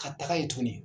Ka taga yen tuguni